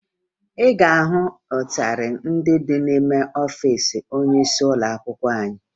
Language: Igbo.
Ị ga-ahụ ịtarị ndị n'ime ọfiisi onyeisi ụlọakwụkwọ anyị